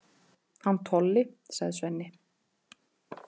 Hann Tolli, sagði Svenni.